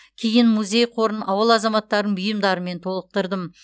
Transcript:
кейін музей қорын ауыл азаматтарының бұйымдарымен толықтырдым